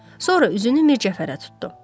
Sonra üzünü Mircəfərə tutdu.